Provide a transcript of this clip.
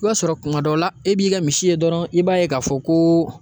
I b'a sɔrɔ kuma dɔw la, e b'i ka misi ye dɔrɔn i b'a ye k'a fɔ ko